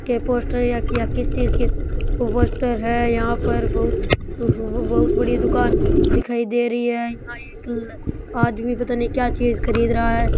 Poster किस चीज के पोस्टर है यहाँ पर बहुत बड़ी दुकान दिखाई दे रही है यहाँ पता नहीं एक आदमी क्या चीज खरीद रहा है।